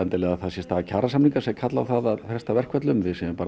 það sé staða kjarasamninga sem kalla á það að fresta verkföllum